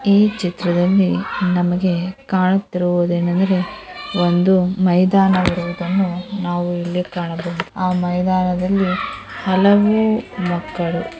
ಈ ಚಿತ್ರದಲ್ಲಿ ನಮಗೆ ಕಾಣುತ್ತಿರುವುದು ಏನೆಂದರೆ ಒಂದು ಮೈದಾನ ಇರೋದನ್ನ ನಾವು ಕಾಣಬಹುದು ಈ ಮೈದಾನದಲ್ಲಿ ಹಲವು ಮಕ್ಕಳು.